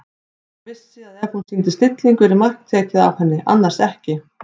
Hún vissi að ef hún sýndi stillingu yrði tekið mark á henni- annars ekki.